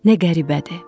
Nə qəribədir.